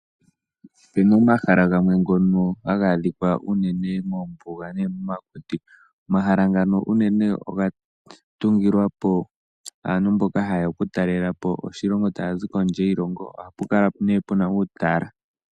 Opu na omahala gamwe ngono haga adhikwa unene moombuga nenge momakuti. Omahala ngano unene oga tungilwapo aantu mboka haye ya okutalelapo oshilongo taya zi kondje yiilongo oha pu kala nee pu na uutala.